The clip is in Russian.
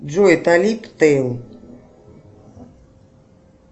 джой талиб тейл